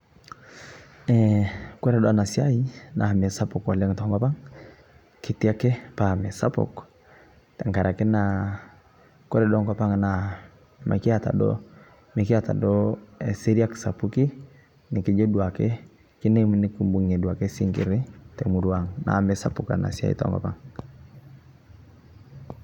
Eeh kore doo ena siai naa mesapuk oleng to nkopang' ketii ake paa mesapuk, tenga'araki naa kore doo nkopang naa mikieta doo, mikieta doo eseriak sapuki nikijoo duake kidiim nikibung'iye duake sing'iri te murua ang' naaku mesapuk ena siai to nkopang'.